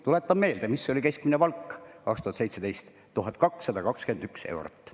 Tuletan meelde, mis oli 2017 keskmine palk – 1221 eurot.